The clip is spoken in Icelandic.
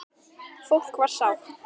Fólk var sátt.